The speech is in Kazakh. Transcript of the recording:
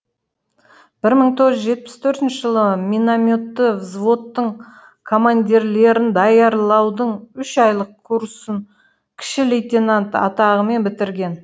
бір мың тоғыз жүз жетпіс төртінші жылы минометті взводтың командирлерін даярлаудың үш айлық курсын кіші лейтенант атағымен бітірген